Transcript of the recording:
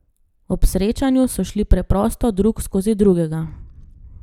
Ob srečanju so šli preprosto drug skozi drugega.